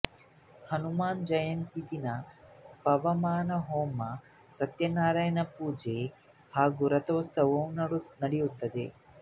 ಹನಮ ಜಯಂತಿಯ ದಿನ ಪವಮಾನ ಹೋಮ ಸತ್ಯನಾರಾಯಣಾ ಪೂಜೆ ಹಾಗು ರತೋತ್ಸವ ನಡೆಯುತ್ತದೆ